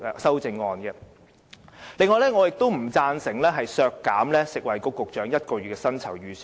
此外，我亦不贊成削減食物及衞生局局長1個月薪酬預算開支。